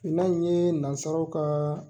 Finnan in ye nansaraw ka